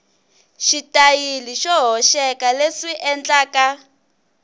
xitayili xo hoxeka leswi endlaka